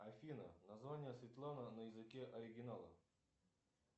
афина название светлана на языке оригинала